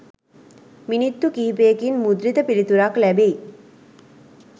මිනිත්තු කිහිපයකින් මුද්‍රිත පිළිතුරක් ලැබෙයි.